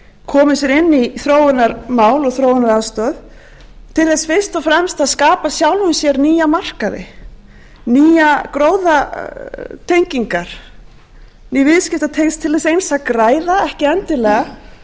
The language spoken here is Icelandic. komið sér inn í þróunarmál og þróunaraðstoð til þess fyrst og fremst að skapa sjálfum sér nýja markaði nýjar gróðatengingar með viðskiptatengsl til þess eins að græða ekki endilega til að